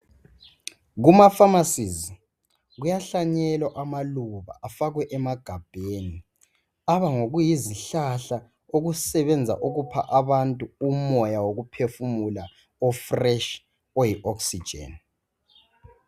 Kuma "pharmacies " kuyahlanyelwa amaluba afakwe emagabheni. Aba ngokuyizihlahla okusebenza ukupha abantu umoya wokuphefumula o"fresh",oyi"oxygen".